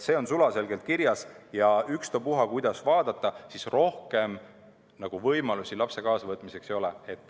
See on sulaselgelt kirjas ja ükstapuha, kuidas vaadata, rohkem võimalusi lapse kaasavõtmiseks ei ole.